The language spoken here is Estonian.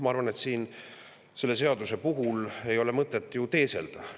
Ma arvan, et selle seaduse puhul ei ole ju mõtet teeselda.